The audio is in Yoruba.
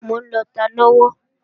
Mò ń lọta lọ́wọ́